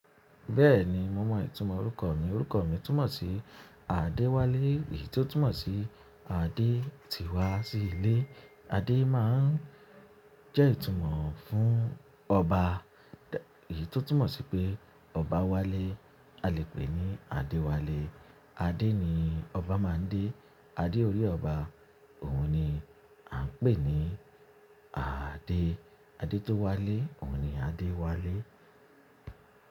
Bẹ́ẹ̀ni, mo mọ ìtumọ̀ orúkọ mi. Orúkọ mi túmọ̀ sí Adéwálé, èyí tó túmọ̀ sí adé ti wá sí ilé. Adé máa ń jẹ́ ìtumọ̀ fún ọba, èyí tó túmọ̀ sí pé ọba wálé a lè pè ní Adewale. Adé ni ọba máa ń dé. Adé orí ọba òun ni à ń pè ní Ade. Adé tó wálé, òun ni Adewale.